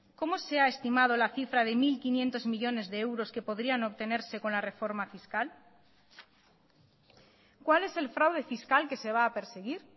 cómo se ha estimado la cifra de mil quinientos millónes de euros que podrían obtenerse con la reforma fiscal cuál es el fraude fiscal que se va a perseguir